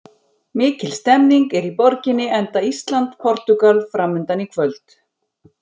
Mikil stemning er í borginni enda Ísland- Portúgal framundan í kvöld.